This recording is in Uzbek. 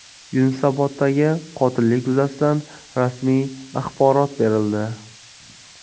Yunusoboddagi qotillik yuzasidan rasmiy axborot berildi.